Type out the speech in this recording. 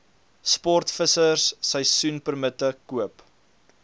sportvissers seisoenpermitte koop